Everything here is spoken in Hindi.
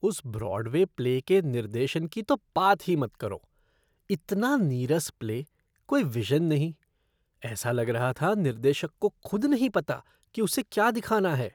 उस ब्रॉडवे प्ले के निर्देशन की तो बात ही मत करो। इतना नीरस प्ले, कोई विज़न नहीं। ऐसा लग रहा था निर्देशक को खुद नहीं पता था कि उसे क्या दिखाना है।